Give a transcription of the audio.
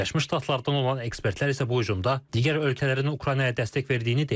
Birləşmiş Ştatlardan olan ekspertlər isə bu hücumda digər ölkələrin Ukraynaya dəstək verdiyini deyirlər.